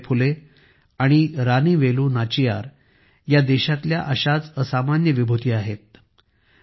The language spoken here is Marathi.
सावित्रीबाई फुले आणि रानी वेलू नाचियार या देशाच्या अशाच असामान्य विभूती आहेत